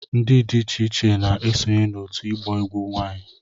ndị dị iche iche na-esonye n'òtù ịgba egwu nwanyị